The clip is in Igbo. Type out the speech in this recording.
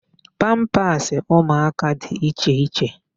Pampasị ụmụaka dị iche iche.